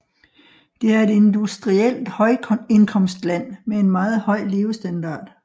Det er et industrielt højindkomstland med en meget høj levestandard